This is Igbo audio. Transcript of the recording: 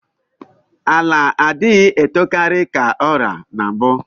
Ala adighi etokari ka ọra na mbu